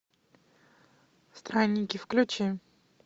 странники включи